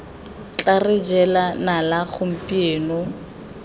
tla re jela nala gompieno